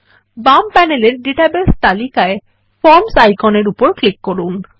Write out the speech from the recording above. বাম প্যানেলের ডাটাবেস তালিকায় ফর্মস আইকনের উপর ক্লিক করুন